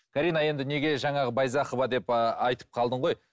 карина енді неге жаңағы байзақова деп ы айтып қалдың ғой